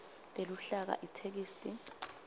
teluhlaka itheksthi